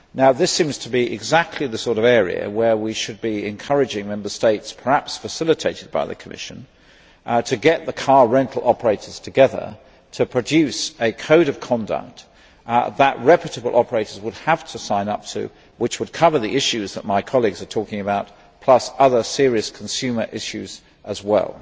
This seems to be exactly the sort of area where we should be encouraging Member States, perhaps facilitated by the Commission, to get the car rental operators together to produce a code of conduct that reputable operators would have to sign up to, which would cover the issues that my colleagues are talking about, plus other serious consumer issues as well.